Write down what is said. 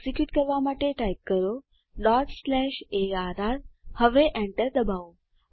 execute કરવા માટે type કરો અર્ર હવે enter ડબાઓ